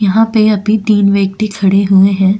यहां पे अभी तीन व्यक्ति खड़े हुए हैं।